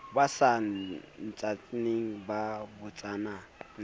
ba sa ntsaneng ba botsana